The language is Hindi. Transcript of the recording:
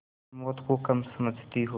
प्रमोद को कम समझती हो